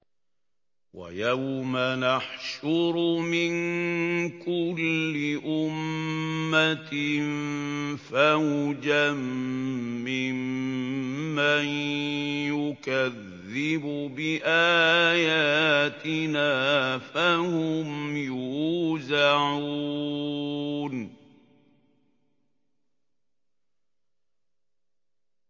وَيَوْمَ نَحْشُرُ مِن كُلِّ أُمَّةٍ فَوْجًا مِّمَّن يُكَذِّبُ بِآيَاتِنَا فَهُمْ يُوزَعُونَ